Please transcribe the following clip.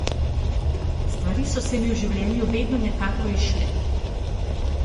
Stvari so se mi v življenju vedno nekako izšle.